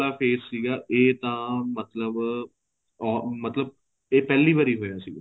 face ਸੀਗਾ ਇਹ ਤਾਂ ਮਤਲਬ ਇਹ ਪਹਿਲੀ ਵਾਰੀ ਹੋਇਆ ਸੀ